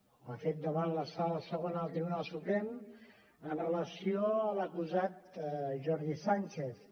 ho ha fet davant la sala segona del tribunal suprem amb relació a l’acusat jordi sànchez